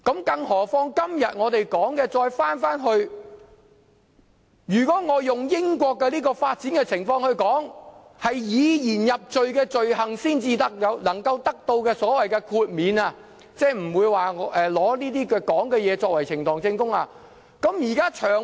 更何況，今天我們討論的是，如果我用英國的發展情況來說，只有以言入罪的罪行才能獲豁免，即不會用曾經發表的言論作為呈堂證供。